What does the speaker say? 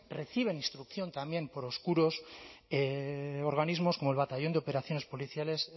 reciben instrucción también por oscuros organismos como el batallón de operaciones policiales